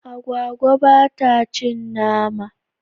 Agwagwa ba ta cin nama.